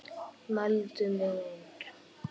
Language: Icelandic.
Mældi mig út.